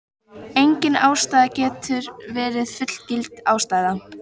Engin ástæða getur verið fullgild ástæða.